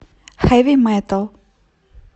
хэви метал